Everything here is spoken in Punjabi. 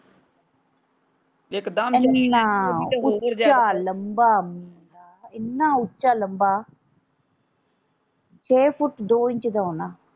ਇਕਦਮ ਇੰਨਾ ਉੱਚਾ ਲੰਬਾ ਮੁੰਡਾ ਇੰਨਾ ਉੱਚਾ ਲੰਬਾ ਛੇ ਫੁੱਟ ਦੋ ਇੰਚ ਦਾ ਹੋਣਾ।